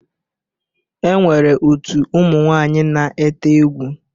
E nwere otu ụmụ nwaaǹyi na-ete egwu.